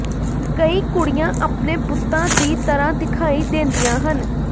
ਕਈ ਕੁੜੀਆਂ ਆਪਣੇ ਬੁੱਤਾਂ ਦੀ ਤਰ੍ਹਾਂ ਦਿਖਾਈ ਦਿੰਦੀਆਂ ਹਨ